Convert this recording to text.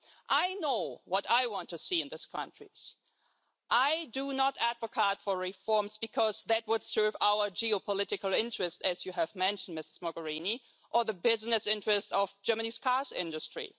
I know what I want to see in these countries. I do not advocate reforms because that would serve our geopolitical interest, as you have mentioned Ms Mogherini, or the business interests of Germany's car industry.